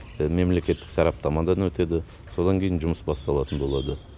мемлекеттік сараптамадан өтеді содан кейін жұмыс басталатын болады